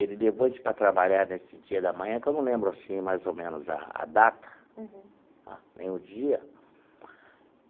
Ele levou a gente para trabalhar nesse dia da manhã, que eu não lembro assim mais ou menos a a data. Uhum. Nem o dia.